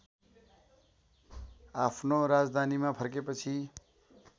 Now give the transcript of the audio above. आफ्नो राजधानीमा फर्केपछि